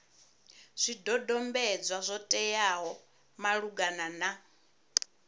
zwidodombedzwa zwo teaho malugana na